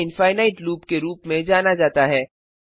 इसे infinite loop के रूप में जाना जाता है